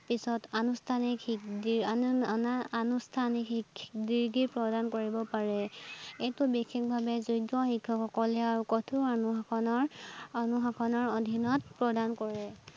পিছত আনুষ্ঠানিক degree আনুষ্ঠানিক degree প্ৰদান কৰিব পাৰে, এইটো বিশেষভাৱে যোগ্য শিক্ষক সকলে কঠোৰ অনুশাসনৰ, অনুশাসনৰ অধীনত প্ৰদান কৰে